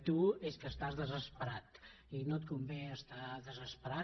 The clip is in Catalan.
tu és que estàs desesperat i no et convé estar desesperat